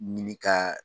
Ɲini ka